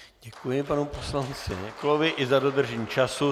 Děkuji panu poslanci Neklovi i za dodržení času.